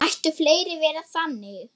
Mættu fleiri vera þannig.